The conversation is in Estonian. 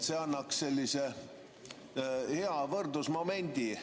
See annaks sellise hea võrdlusmomendi.